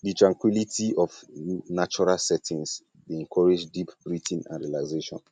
di tranquility of natural settings of natural settings dey encourage deep breathing and relaxation